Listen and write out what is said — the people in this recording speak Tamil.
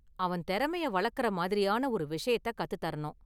அவன் திறமைய வளர்க்கிற மாதிரியான ஒரு விஷயத்தை கத்து தரணும்.